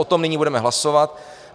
O tom nyní budeme hlasovat.